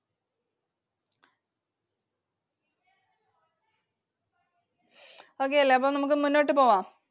Okay അല്ലെ? അപ്പോൾ നമുക്ക് മുന്നോട്ട് പോകാം.